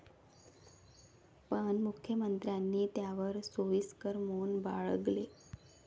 पण मुख्यमंत्र्यांनी त्यावर सोयीस्कर मौन बाळगले.